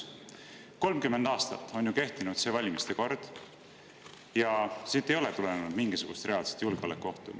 30 aastat on ju kehtinud see valimiste kord ja siit ei ole tulenenud mingisugust reaalset julgeolekuohtu.